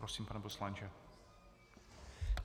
Prosím, pane poslanče.